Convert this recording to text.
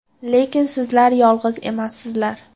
Lekin sizlar yolg‘iz emassizlar.